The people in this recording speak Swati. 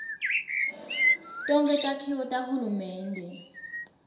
tonkhe takhiwo tahulumende